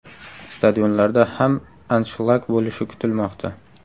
Stadionlarda ham anshlag bo‘lishi kutilmoqda.